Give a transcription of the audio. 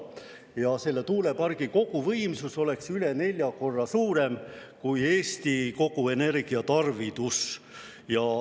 Ja selle tuulepargi koguvõimsus oleks üle nelja korra suurem kui Eesti kogu energiatarvidus.